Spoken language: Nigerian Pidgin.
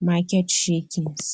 market shakings